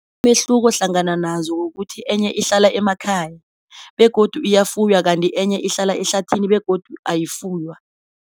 Kodwana umehluko hlangana nazo kukuthi enye ihlala emakhaya, begodu iyafuywa kanti enye ihlala ehlathini begodu ayifuywa.